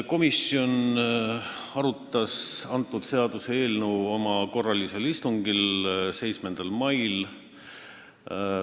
Komisjon arutas seda seaduseelnõu oma korralisel istungil 7. mail.